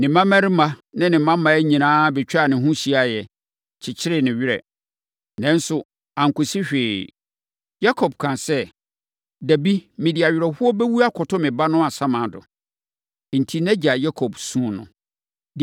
Ne mmammarima ne ne mmammaa nyinaa bɛtwaa ne ho hyiaeɛ, kyekyeree ne werɛ, nanso ankɔsi hwee. Yakob kaa sɛ, “Dabi, mede awerɛhoɔ bɛwu akɔto me ba no asamando.” Enti, nʼagya Yakob suu no.